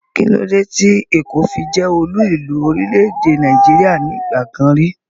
Kílódé tí èkó fi jẹ́ olú ìlú orílẹ̀-èdè Nàìjíríà nígbà kan rí?